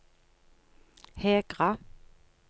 Hegra